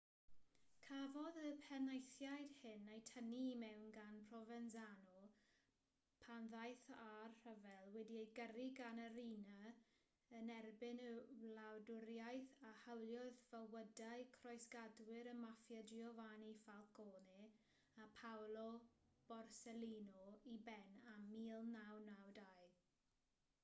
cafodd y penaethiaid hyn eu tynnu i mewn gan provenzano pan ddaeth â'r rhyfel wedi'i gyrru gan y riina yn erbyn y wladwriaeth a hawliodd fywydau croesgadwyr y maffia giovanni falcone a paolo borsellino i ben ym 1992